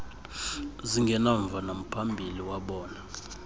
zingenamva namphambili wabona